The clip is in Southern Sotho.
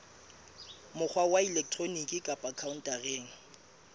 mokgwa wa elektroniki kapa khaontareng